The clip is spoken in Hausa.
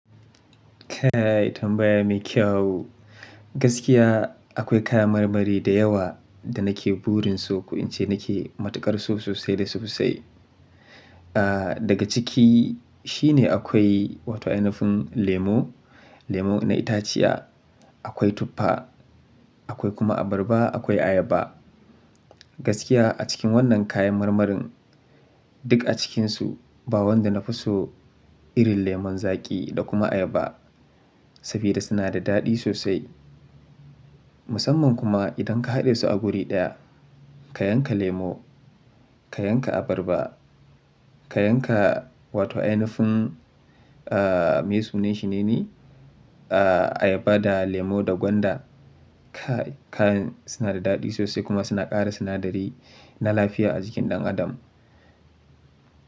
Kayi tambaya mai kyau. Gaskiya akwai kaya marmari da yawa da nake burin su, ko in ce nake matukar so sosai da sosai. Ah, daga ciki shine akwai wato 'ainafin lemo, lemo na itaciya, akwai tuffa, akwai kuma abarba, akwai ayaba. Gaskiya a cikin wannan kayan marmarin duk a cikinsu ba wanda na fi so irin lemun zaƙi da kuma ayaba. Saboda suna da daɗi sosai. Musamman kuma idan ka haɗe su a wuri ɗaya, ka yanka lemo, ka yanka abarba, ka yanka wato 'ainafin, ah, me sunan shi nene? Ah, ayaba da lemo da gwanda. Ka-kayan suna da daɗi sosai kuma suna ƙara sinadari na lafiya a jikin ɗan adam.